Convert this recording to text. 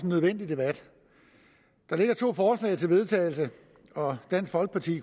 nødvendig debat der ligger to forslag til vedtagelse og dansk folkeparti